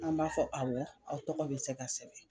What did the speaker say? An b'a fɔ awɔ anw tɔgɔ be se ka sɛbɛn.